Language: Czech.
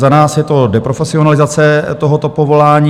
Za nás je to deprofesionalizace tohoto povolání.